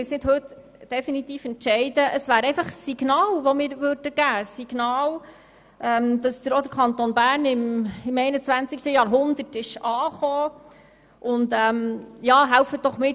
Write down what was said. Sie müssen nicht heute definitiv entscheiden, sondern sie würden hier einfach ein Signal aussenden, wonach auch der Kanton Bern im 21. Jahrhundert angekommen ist.